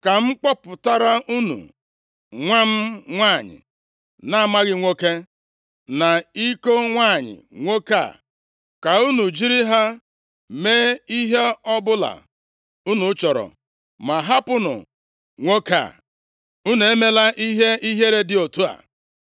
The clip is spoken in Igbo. Ka m kpọpụtara unu nwa m nwanyị na-amaghị nwoke, na iko nwanyị nwoke a ka unu jiri ha mee ihe ọbụla unu chọrọ ma hapụnụ nwoke a. Unu emela ihe ihere dị otu a.”